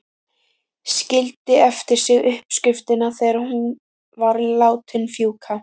Skildi eftir sig uppskriftina þegar hún var látin fjúka.